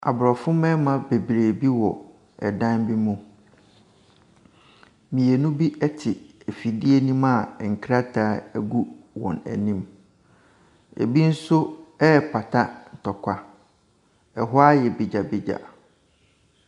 Abrɔfo mmarima bebree bi wɔ dan bi mu. Mmienu bi te afidie no mu a nkrataa gu wɔn anim. Ebi nso repata ntɔkwa. Ɛhɔ ayɛ begyabegya.